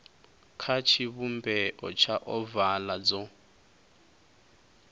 kha tshivhumbeo tsha ovala dzo